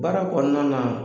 Baara kɔnɔna na